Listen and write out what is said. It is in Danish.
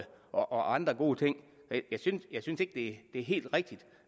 og andre gode ting jeg ting jeg synes ikke det er helt rigtigt